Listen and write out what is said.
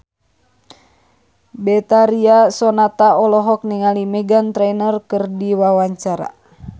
Betharia Sonata olohok ningali Meghan Trainor keur diwawancara